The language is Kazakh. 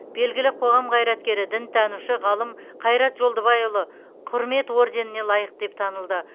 белгілі қоғам қайраткері дінтанушы ғалым қайрат жолдыбайұлы құрмет орденіне лайық деп танылды